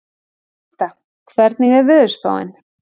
Glytta, hvernig er veðurspáin?